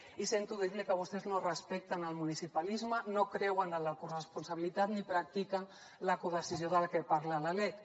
i sento dir li que vostès no respecten el municipalisme no creuen en la corresponsabilitat ni practiquen la codecisió de la que parla la lec